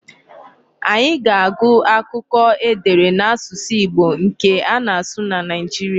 Anyị ga-agụ akụkọ e dere n'asụsụ Igbo nke ana-asụ na Nigeria.